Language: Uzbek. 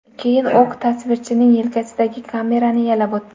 Keyin o‘q tasvirchining yelkasidagi kamerani yalab o‘tdi.